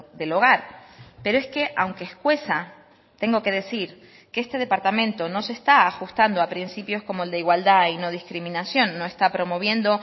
del hogar pero es que aunque escueza tengo que decir que este departamento no se está ajustando a principios como el de igualdad y no discriminación no está promoviendo